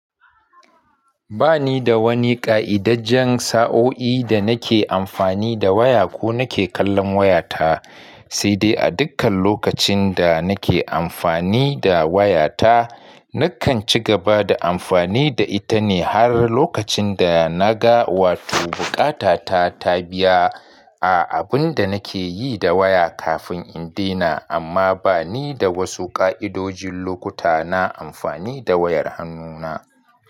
Ba ni da wani ƙa'idajjan sa'o'i da nake amfani da waya ko nake kallon wayata, sai dai a dukkan lokacin da nake amfani da wayata, nakan ci gaba da amfani da ita ne har lokacin da na ga wato buƙata ta ta biya a abin da nake yi da waya kafin in dena. Amma ba ni da wasu ƙa'idojin lokuta na amfani da wayar hannuna.